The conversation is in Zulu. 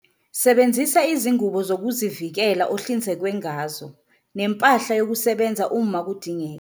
Sebenzisa izingubo zokuzivikela ohlinzekwe ngazo nempahla yokusebenza uma kudingeka.